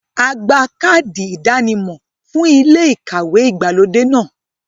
A gba káàdì ìdánimọ̀ fún ilé ìkàwé ìgbàlódé náà.